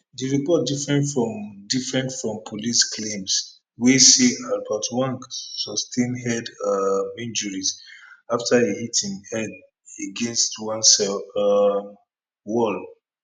di report different from different from police claims wey say albert ojwang sustain head um injuries afta e hit im head against one cell um wall